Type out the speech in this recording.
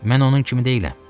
Mən onun kimi deyiləm.